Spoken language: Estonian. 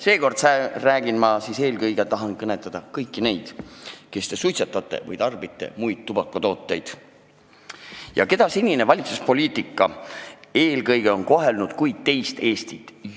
Seekord ma tahan eelkõige kõnetada kõiki teid, kes te suitsetate või tarbite muid tubakatooteid ja keda senine valitsuspoliitika on juba aastakümneid kohelnud kui teist Eestit.